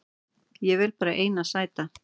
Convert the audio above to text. Ég vel bara eina sæta